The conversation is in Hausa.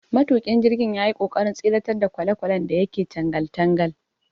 Matuƙin jirgin yayi ƙoƙarin tseratar da kwalelwalen da yake tangal tangal.